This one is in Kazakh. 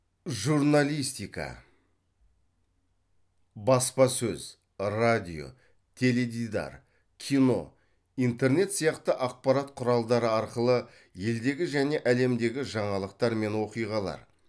журналистика баспасөз радио теледидар кино интернет сияқты ақпарат құралдары арқылы елдегі және әлемдегі жаңалықтар мен оқиғалар